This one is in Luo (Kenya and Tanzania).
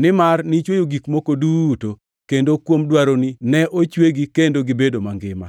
nimar nichweyo gik moko duto, kendo kuom dwaroni ne ochwegi, kendo gibedo mangima.”